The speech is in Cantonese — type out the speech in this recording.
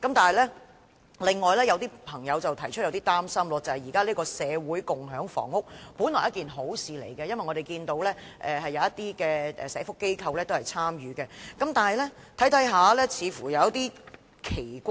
但是，另有一點是有些朋友有點擔心的，便是社會共享房屋本來是好事，因為我們看見有些社福機構也有參與，然而，在細看後，卻感到有些奇怪。